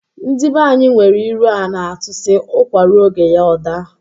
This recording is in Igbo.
Ndị banyi nwere ilu a na-atụ sị, "ụkwa ruo oge ya ọ daa "